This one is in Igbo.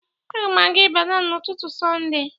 Agam aga Ibadan n'ututu sonde.